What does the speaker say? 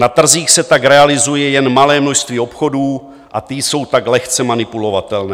Na trzích se tak realizuje jen malé množství obchodů a ty jsou tak lehce manipulovatelné.